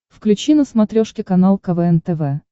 включи на смотрешке канал квн тв